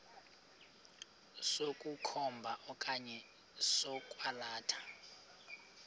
sokukhomba okanye sokwalatha